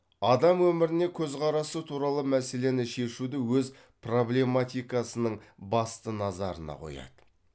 адам өміріне көзқарасы туралы мәселені шешуді өз проблематикасының басты назарына қояды